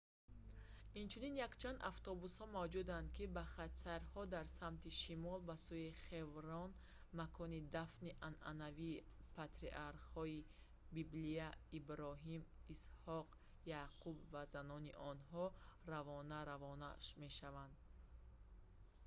инчунин якчанд автобусҳо мавҷуданд ки ба хатсайрҳо дар самти шимол ба сӯи хеврон макони дафни анъанавии патриархҳои библия иброҳим исҳоқ яъқуб ва занони онҳо равона равона мешаванд